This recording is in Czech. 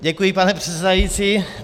Děkuji, pane předsedající.